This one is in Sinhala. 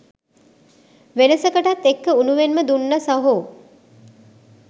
වෙනසකටත් එක්ක උණුවෙන්ම දුන්නා සහෝ.